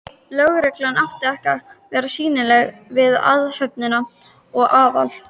Lögreglan átti að vera sýnileg við athöfnina og Aðal